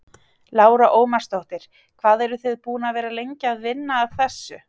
Lára Ómarsdóttir: Hvað eru þið búin að vera lengi að vinna að þessu?